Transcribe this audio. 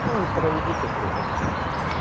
ну проведите в другом чате